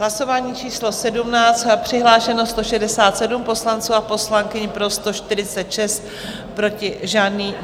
Hlasování číslo 17, přihlášeno 167 poslanců a poslankyň, pro 146, proti žádný.